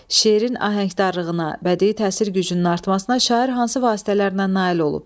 Şeirin ahəngdarlığına, bədii təsir gücünün artmasına şair hansı vasitələrlə nail olub?